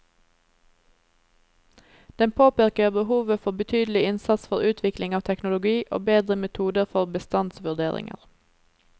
Den påpeker behovet for betydelig innsats for utvikling av teknologi og bedre metoder for bestandsvurderinger.